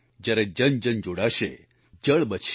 જ્યારે જનજન જોડાશે જળ બચશે